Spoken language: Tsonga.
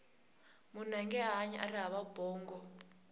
munhu ange hanyi ari hava bongo